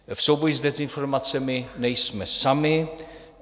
V souboji s dezinformacemi nejsme sami.